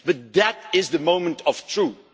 But that is the moment of truth.